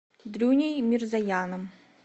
дрюней мирзояном